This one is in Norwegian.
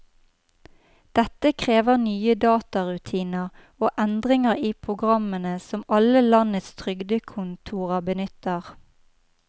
Dette krever nye datarutiner og endringer i programmene som alle landets trygdekontorer benytter.